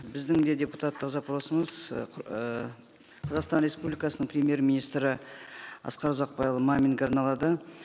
біздің де депутаттық запросымыз ы ыыы қазақстан республикасының премьер министрі асқар ұзақбайұлы маминге арналады